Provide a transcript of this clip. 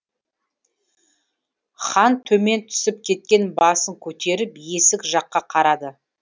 хан төмен түсіп кеткен басын көтеріп есік жаққа қарады